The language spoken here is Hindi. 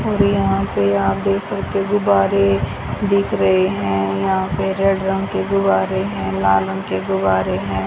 और यहां पे आप देख सकते गुब्बारे दिख रहे हैं। यहां पे रेड रंग के गुब्बारे हैं। लाल रंग के गुब्बारे हैं।